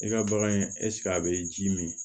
I ka bagan ɛseke a bɛ ji min